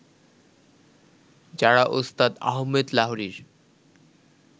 যারা ওস্তাদ আহমেদ লাহরীর